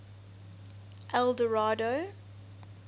eldorado